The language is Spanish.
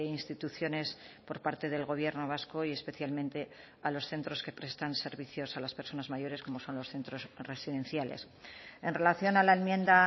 instituciones por parte del gobierno vasco y especialmente a los centros que prestan servicios a las personas mayores como son los centros residenciales en relación a la enmienda